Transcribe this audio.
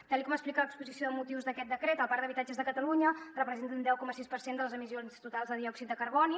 tal com explica l’exposició de motius d’aquest decret el parc d’habitatges de catalunya representa un deu coma sis per cent de les emissions totals de diòxid de carboni